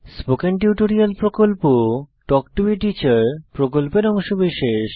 spoken tutorial প্রকল্প talk to a teacher প্রকল্পের অংশবিশেষ